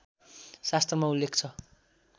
शास्त्रमा उल्लेख छ